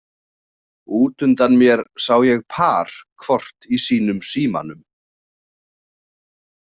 Út undan mér sá ég par hvort í sínum símanum.